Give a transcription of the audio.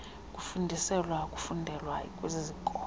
kufundiselwa kufundelwe kwizikolo